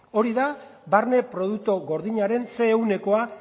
hori da barne produktu gordinaren zer ehunekoa